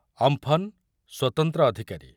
Amphan ସ୍ବତନ୍ତ୍ର ଅଧିକାରୀ